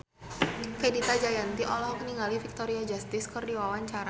Fenita Jayanti olohok ningali Victoria Justice keur diwawancara